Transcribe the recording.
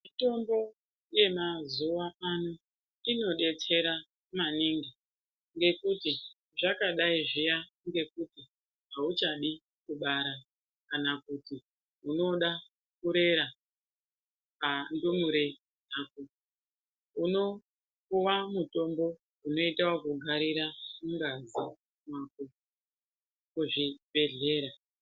Mitombo yemazuwa ano inodetsera maningi ngekuti zvakadai zvuya ngekuti auchadi kubara kana kuti unoda kurera ndumure dzako unopuwa mutombo inoita ekugarira mungazi mako kuzvibhedhlera.